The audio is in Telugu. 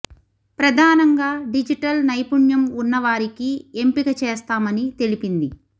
ప్రధానంగా డిజిటల్ నైపుణ్యం ఉన్న వారికి ఎంపిక చేస్తామని తెలిపింది